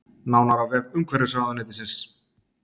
Nánar á vef umhverfisráðuneytisins